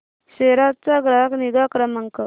सेरा चा ग्राहक निगा क्रमांक